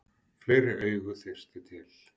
Fleiri augu þyrfti til.